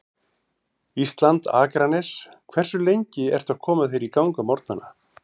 Ísland, Akranes Hversu lengi ertu að koma þér í gang á morgnanna?